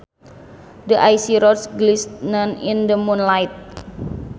The icy road glistened in the moonlight